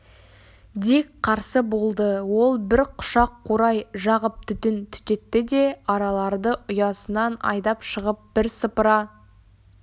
дик қарсы болды ол бір құшақ қурай жағып түтін түтетті де араларды ұясынан айдап шығып бірсыпыра